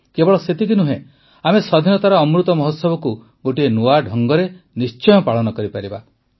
କେବଳ ସେତିକି ନୁହେଁ ଆମେ ସ୍ୱାଧୀନତାର ଅମୃତ ମହୋତ୍ସବକୁ ଗୋଟିଏ ନୂଆ ଢଙ୍ଗରେ ନିଶ୍ଚୟ ପାଳନ କରିପାରିବା